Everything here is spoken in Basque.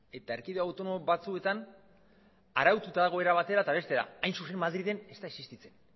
eta erkideko autonomo batzuetan araututa dago era batera eta bestera hain zuzen ere madrilen ez da existitzen